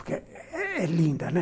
Porque é linda, né?